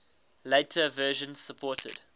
later versions supported